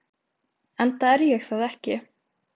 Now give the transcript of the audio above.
Enda er ég það ekki.